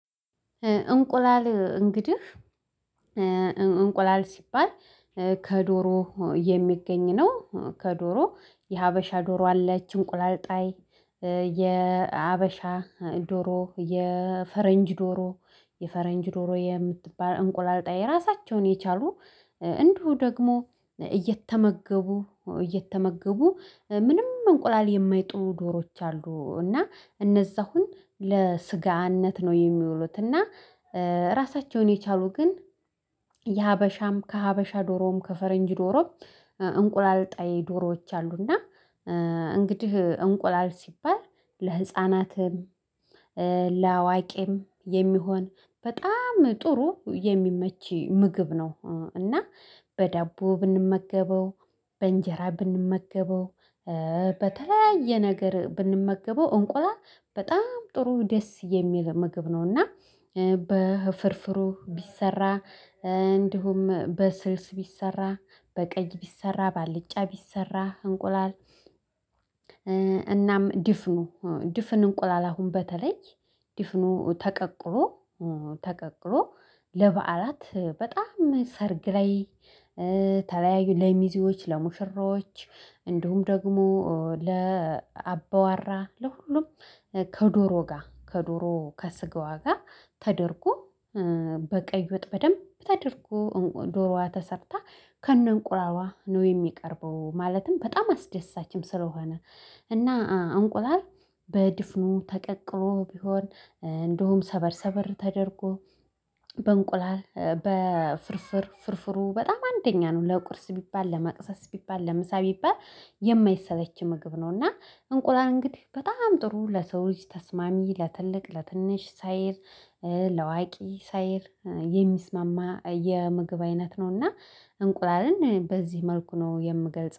እንቁላል እንግዲህ እንቁላል ሲባል ከዶሮ የሚገኝ ነው። ከዶሮ የሀበሻ ዶሮ አለች እንቁላል ጣይ የሀበሻ ዶሮ የፈረንጅ ዶሮ የፈረንጅ ዶሮ የምትባል እንቁላልጣይ ራሳቸውን የቻሉ እንዲሁ ደግሞ እየተመገቡ እየተመገቡ ምንም እንቁላል የማይጥሉ ዶሮዎች አሉ። እና እነዛ አሁን ለስጋነት ነው የሚውሉት እና ራሳቸውን የቻሉ ግን የሀበሻም ከሀበሻ ዶሮም ከፈረንጅ ዶሮም እንቁላል ጣይ ዶሮዎች አሉና። እንግዲህ እንቁላል ሲባል ለህፃናትም ለአዋቂም የሚሆን በጣም ጥሩ የሚመች ምግብ ነው። እና በዳቦ ብንመገበው በእንጀራ ብንመገበው በተለያየ ነገር ብንመገበው እንቁላል በጣም ጥሩ ደስ የሚል ምግብ ነውና። ቢሰራ እንዲሁም በስልስ ቢሰራ በቀይ ቢሰራ ባልጫ ቢሰራ እንቁላል። እናም ድፍኑ ድፍን እንቁላል አሁን በተለይ ድፍኑ ተቀቅሎ ተቀቅሎ ለበዓላት በጣም ሰርግ ላይ ተለያዩ ለሚዜዎች ለሙሽራዎች እንዲሁም ደግሞ ለአባዋራ ለሁሉም ከዶሮ ጋር ከዶሮ ከስጋዋ ጋር ተደርጎ በቀይ ወጥ በደንብ ተደርጎ ዶሮዋ ተሰርታ ከነእንቁላሏ ነው የሚቀርበው። ማለትም በጣም አስደሳችም ስለሆነ እና አንቁላል በድፍኑ ተቀቅሎ ቢሆን እንደውም ሰበር ሰበር ተደርጎ በእንቁላል በፍርፍር ፍርፍሩ በጣም አንደኛ ነው ለቁርስ ቢባል ለመቅሰስ ቢባል ለምሳ ቢባል የማይሰለች ምግብ ነው። እና እንቁላል እንግዲህ በጣም ጥሩ ለሰው ልጅ ተስማሚ ለትልቅ ለትንሽ ሳይል ላዋቂ ሳይል የሚስማማ የምግብ አይነት ነውና። እንቁላልን በዚህ መልኩ ነው የምገልጽ